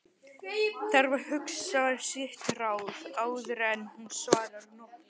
Þarf að hugsa sitt ráð áður en hún svarar nokkru.